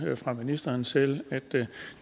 fra ministeren selv at